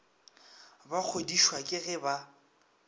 ba kgodišwa ke ge ba